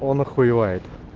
он охуевает